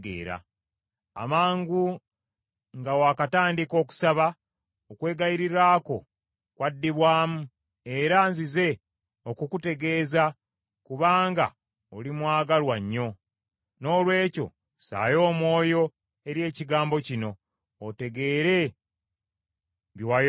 Amangu nga waakatandika okusaba, okwegayirira kwo kwaddibwamu era nzize okukutegeeza, kubanga oli mwagalwa nnyo. Noolwekyo ssaayo omwoyo eri ekigambo kino, otegeere bye wayolesebwa.